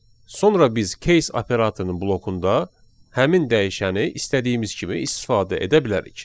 Sonra biz case operatorunun blokunda həmin dəyişəni istədiyimiz kimi istifadə edə bilərik.